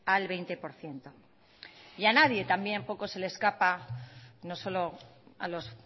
al veinte por ciento y a nadie también poco se le escapa no solo a los